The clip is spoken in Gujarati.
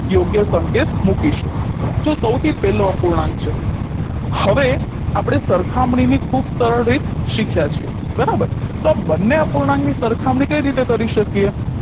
યોગ્ય સંકેત મૂકીશું તો સૌથી પેહલો અપૂર્ણાંક છે હવે આપણે સરખમણીની ખૂબ સરળ રીત શીખ્યા છે બરાબર તો બંને અપૂર્ણાંકની સરખામણી કઈ રીતે કરી શકીએ